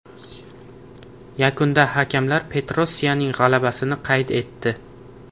Yakunda hakamlar Petrosyaning g‘alabasini qayd etdi.